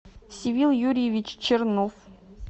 севил юрьевич чернов